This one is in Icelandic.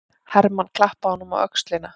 Hermann klappaði honum á öxlina.